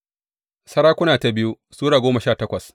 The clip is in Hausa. biyu Sarakuna Sura goma sha takwas